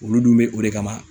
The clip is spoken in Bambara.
Olu dun be o de kama